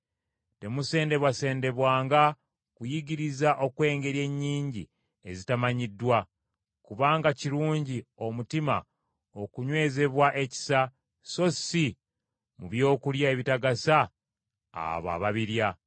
Temusendebwasendebwanga kuyigiriza okw’engeri ennyingi ezitamanyiddwa. Kubanga kirungi omutima okunywezebwa ekisa, so si mu byokulya ebitagasa abo ababirya.